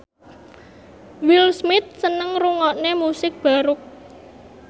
Will Smith seneng ngrungokne musik baroque